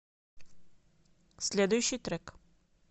следующий трек